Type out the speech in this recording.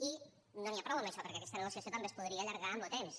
i no n’hi ha prou amb això perquè aquesta negociació també es podria allargar en lo temps